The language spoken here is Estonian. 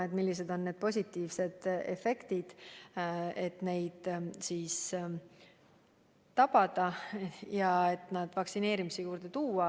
Tuleb mõelda, kuidas saavutada positiivne efekt ja need inimesed vaktsineerimisega nõusse saada.